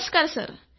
नमस्कार सर